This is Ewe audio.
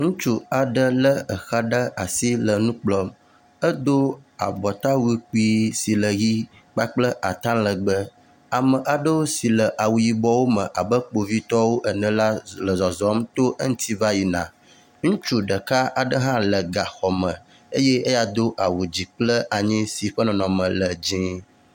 Ŋutsu aɖe lé exa ɖe asi le nu kplɔm edo abatawu kpui si le ʋi kpakple ata legbe ame aɖewo si le awu yibɔwo me abe kpovitɔwo ene la le zɔzɔm to eŋuti va yina. Ŋutsu ɖeka ɖe hã le gaxɔme eye eya do awu dzi kple anyi ƒe nɔnɔme le dzɛ̃